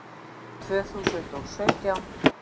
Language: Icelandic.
Tvö þúsund og sautján